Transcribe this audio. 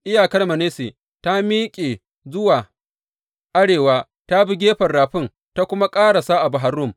Iyakar Manasse ta miƙe zuwa arewa ta bi gefen rafin ta kuma ƙarasa a Bahar Rum.